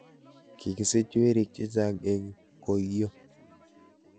Kikisich werik chechang' eng koiyo.